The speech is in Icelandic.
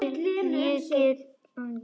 Er hann genginn af vitinu?